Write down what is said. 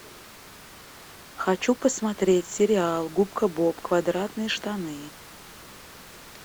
хочу посмотреть сериал губка боб квадратные штаны